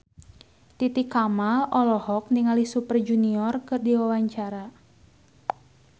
Titi Kamal olohok ningali Super Junior keur diwawancara